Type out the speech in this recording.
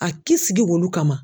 A k'i sigi olu kama.